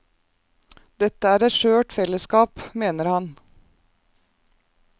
Dette er et skjørt fellesskap, mener han.